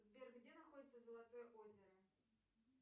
сбер где находится золотое озеро